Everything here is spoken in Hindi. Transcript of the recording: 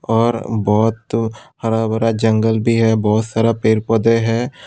और बहुत हरा भरा जंगल भी है बहुत सारा पेड़ पौधे है।